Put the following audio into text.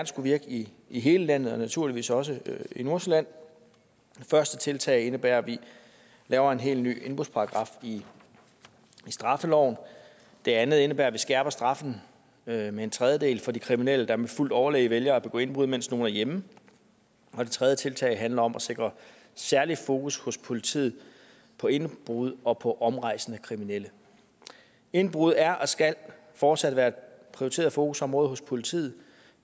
skulle virke i i hele landet og naturligvis også i nordsjælland det første tiltag indebærer at vi laver en helt ny indbrudsparagraf i straffeloven det andet indebærer at vi skærper straffen med en tredjedel for de kriminelle der med fuldt overlæg vælger at begå indbrud mens nogen er hjemme og det tredje tiltag handler om at sikre særlig fokus hos politiet på indbrud og på omrejsende kriminelle indbrud er og skal fortsat være et prioriteret fokusområde hos politiet